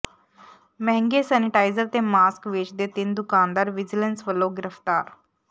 ਮਹਿੰਗੇ ਸੈਨੇਟਾਈਜ਼ਰ ਤੇ ਮਾਸਕ ਵੇਚਦੇ ਤਿੰਨ ਦੁਕਾਨਦਾਰ ਵਿਜੀਲੈਂਸ ਵੱਲੋਂ ਗਿ੍ਰਫਤਾਰ